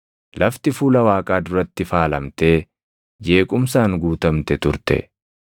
Lafti fuula Waaqaa duratti faalamtee jeequmsaan guutamte turte.